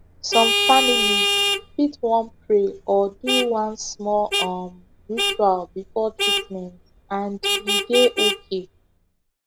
some families fit wan pray or do one small um ritual before treatment and e dey okay